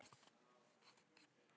Ég veit, sagði Gulli.